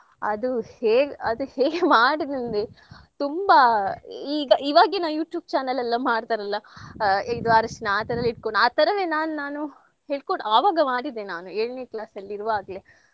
ಅದು ಹೇಗ್ ಅದು ಹೇಗ್ ಮಾಡುದಂದ್ರೆ ತುಂಬಾ ಈಗ ಈವಾಗಿನ YouTube channel ಎಲ್ಲಾ ಮಾಡ್ತರಲ್ಲಾ ಆ ಇದು ಅರ್ಶಿನಾ ಆ ತರ ಎಲ್ಲ ಇಟ್ಕೊಂಡ್ ಆ ತರವೇ ನಾನ್ ನಾನು ಹೇಳ್ಕೊಡ್ ಆವಾಗೆ ಮಾಡಿದ್ದೆ ನಾನು ಎಳ್ನೇ class ಅಲ್ಲಿ ಇರೋವಾಗ್ಲೇ